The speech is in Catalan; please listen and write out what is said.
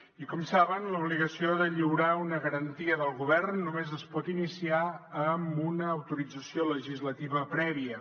i com saben l’obligació de lliurar una garantia del govern només es pot iniciar amb una autorització legislativa prèvia